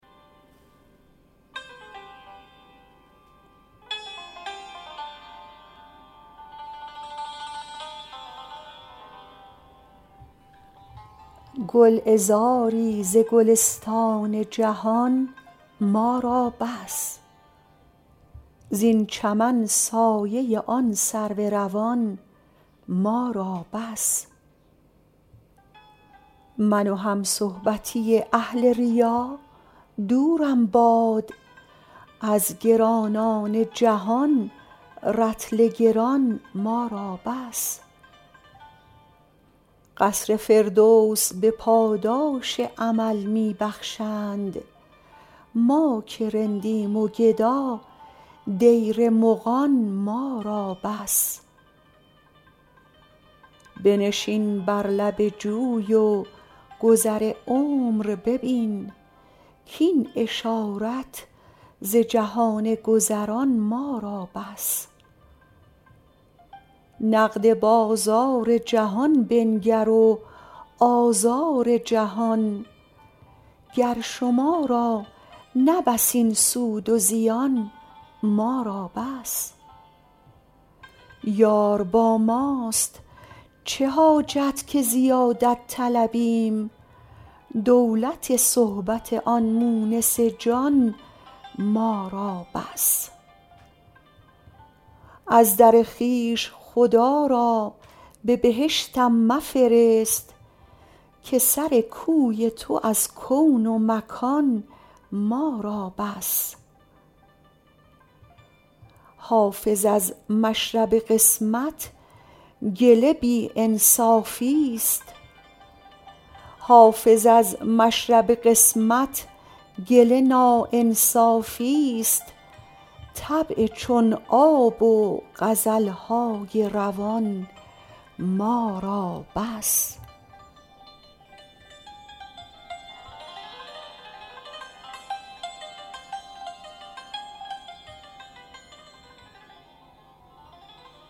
گلعذاری ز گلستان جهان ما را بس زین چمن سایه آن سرو روان ما را بس من و همصحبتی اهل ریا دورم باد از گرانان جهان رطل گران ما را بس قصر فردوس به پاداش عمل می بخشند ما که رندیم و گدا دیر مغان ما را بس بنشین بر لب جوی و گذر عمر ببین کاین اشارت ز جهان گذران ما را بس نقد بازار جهان بنگر و آزار جهان گر شما را نه بس این سود و زیان ما را بس یار با ماست چه حاجت که زیادت طلبیم دولت صحبت آن مونس جان ما را بس از در خویش خدا را به بهشتم مفرست که سر کوی تو از کون و مکان ما را بس حافظ از مشرب قسمت گله ناانصافیست طبع چون آب و غزل های روان ما را بس